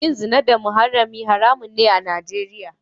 Yin zina da muharrami haramun ne a Nijeriya.